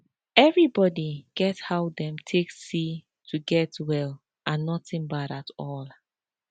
everybody get how dem take see to get well and nothing bad at all